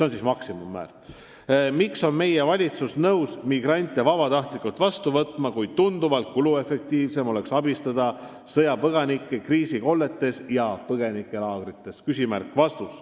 Kolmas küsimus: "Miks on meie valitsus nõus migrante vabatahtlikult vastu võtma, kui tunduvalt kuluefektiivsem oleks abistada sõjapõgenikke kriisikolletes ja põgenikelaagrites?